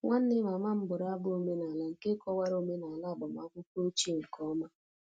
Nwanne mama m bụrụ abụ omenala nke kọwara omenala agbamakwụkwọ ochie nke ọma